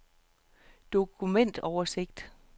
dokumentoversigt